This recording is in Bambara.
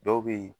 Dɔw bɛ yen